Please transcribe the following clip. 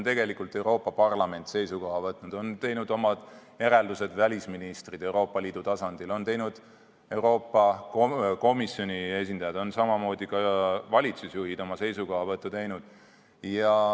Ka Euroopa Parlament on seisukoha võtnud, omad järeldused on teinud välisministrid Euroopa Liidu tasandil, on teinud Euroopa Komisjoni esindajad, samamoodi ka valitsusjuhid on oma seisukohti esitanud.